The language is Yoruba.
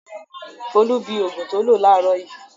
Folú bi òògùn tó lò láàárọ̀ yìí.